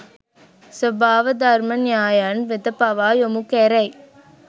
ස්වභාවධර්ම න්‍යායයන් වෙත පවා යොමු කැරෙයි.